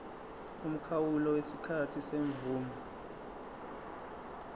umkhawulo wesikhathi semvume